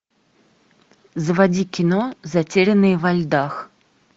заводи кино затерянные во льдах